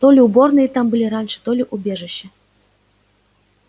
то ли уборные там были раньше то ли убежища